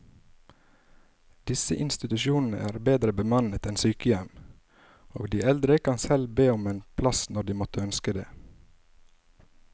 Disse institusjonene er bedre bemannet enn sykehjem, og de eldre kan selv be om en plass når de måtte ønske det.